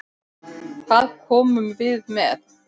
Hvað komum við með?